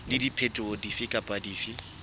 le diphetoho dife kapa dife